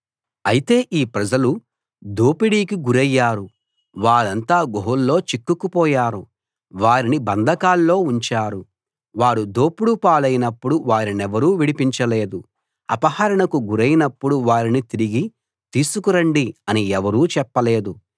అయితే ఈ ప్రజలు దోపిడీకి గురయ్యారు వారంతా గుహల్లో చిక్కుకుపోయారు వారిని బంధకాల్లో ఉంచారు వారు దోపుడు పాలైనప్పుడు వారినెవరూ విడిపించలేదు అపహరణకు గురైనప్పుడు వారిని తిరిగి తీసుకురండి అని ఎవరూ చెప్పలేదు